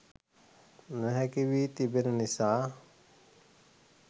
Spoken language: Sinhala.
නොහැකි වී තිබෙන නිසා